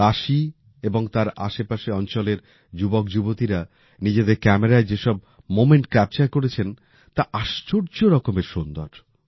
কাশী এবং তার আশেপাশের অঞ্চলের যুবকযুবতীরা নিজেদের ক্যামেরায় যেসব মোমেন্ট ক্যাপচার করেছেন তা আশ্চর্য রকমের সুন্দর